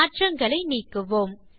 மாற்றங்களை நீக்குவோம்